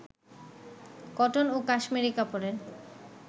cotton ও cashmere কাপড়ের